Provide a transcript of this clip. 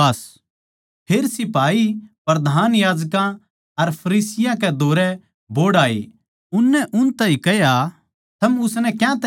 फेर सिपाहियाँ प्रधान याजकां अर फरीसियाँ कै धोरै बोहड़ आए उननै उन ताहीं कह्या थम उसनै क्यातै न्ही ल्याए